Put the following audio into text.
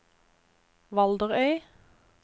Valderøy